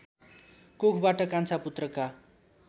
कोखबाट कान्छा पुत्रका